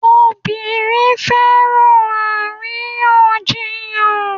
Obìnrin fẹ́ràn àríyànjiyàn